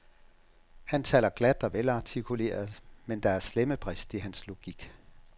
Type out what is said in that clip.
Han taler glat og velartikuleret, men der er slemme brist i hans logik.